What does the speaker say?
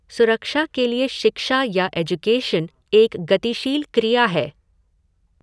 सुरक्षा के लिए शिक्षा या एज्युकेशन एक गतिशील क्रिया है।